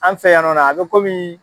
An fɛ yan nɔ na a bɛ kɔmi